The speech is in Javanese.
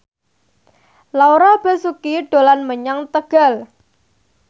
Laura Basuki dolan menyang Tegal